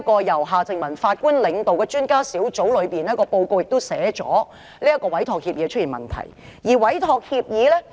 由夏正民法官領導的專家小組在報告中也指出，這份委託協議是有問題的。